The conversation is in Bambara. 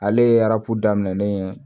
Ale ye arabu daminɛnen ye